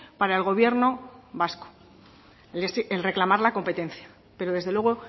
para el gobierno vasco el reclamar la competencia pero desde luego